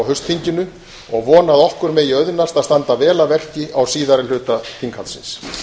haustþinginu og vegna að okkur megi auðnast að standa vel að verki á síðari hluta þinghaldsins